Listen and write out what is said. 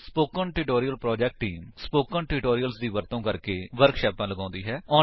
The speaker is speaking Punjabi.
spoken tutorial project team spoken tutorials ਦਾ ਵਰਤੋ ਕਰਕੇ ਵਰਕਸ਼ਾਪਾਂ ਲਗਾਉਂਦੀ ਹੈ